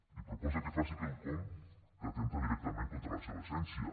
li proposa que faci quelcom que atempta directament contra la seva essència